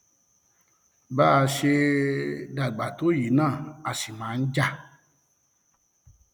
bá a ṣe dàgbà tó yìí náà a sì máa ń jà jà